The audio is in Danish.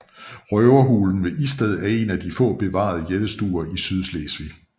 Røverhulen ved Isted er en af de få bevarede jættestuer i Sydslesvig